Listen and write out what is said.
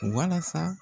Walasa